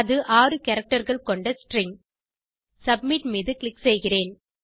அது ஆறு characterகள் கொண்ட ஸ்ட்ரிங் சப்மிட் மீது க்ளிக் செய்கிறேன்